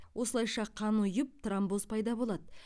осылайша қан ұйып тромбоз пайда болады